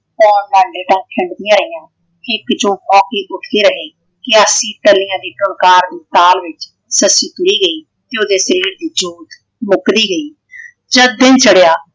ਖਿੰਡਦੀਆਂ ਰਹੀਆਂ । ਹਿੱਕ ਚੋਂ ਹੌਕੇ ਉੱਠਦੇ ਰਹੇ। ਕਿਆਸੀ ਤਲੀਆਂ ਦੀ ਟੁਨਕਾਰ ਤੇ ਤਾਲ ਵਿੱਚ ਸੱਸੀ ਤੁਰੀ ਗਈ ਤੇ ਉਹਦੇ ਸ਼ਰੀਰ ਵਿੱਚੋਂ ਮੁੱਕਦੀ ਗਈ। ਜਦ ਦਿਨ ਚੜਿਆ